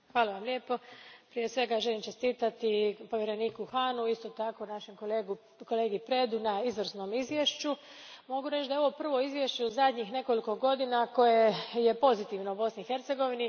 Gospođo predsjednice, prije svega želim čestitati povjereniku Hahnu i isto tako našem kolegi Predi na izvrsnom izvješću. Mogu reći da je ovo prvo izvješće u zadnjih nekoliko godina koje je pozitivno o Bosni i Hercegovini.